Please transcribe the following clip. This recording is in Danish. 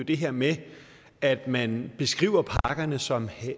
det her med at man beskriver pakkerne som